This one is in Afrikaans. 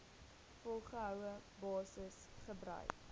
volgehoue basis gebruik